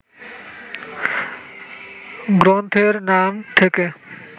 গ্রন্থের নাম থেকে